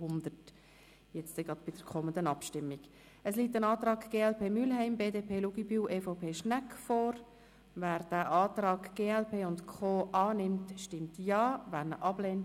Sie haben für diesen Antrag 93 Ja-Stimmen, 1 Nein-Stimme und 50 Enthaltungen abgegeben.